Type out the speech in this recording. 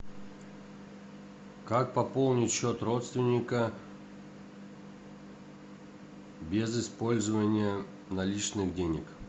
как пополнить счет родственника без использования наличных денег